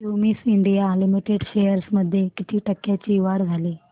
Cummins India limited shares मध्ये किती टक्क्यांची वाढ झाली